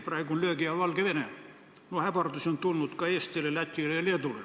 Praegu on löögi all Valgevene, ähvardusi on tulnud ka Eestile, Lätile ja Leedule.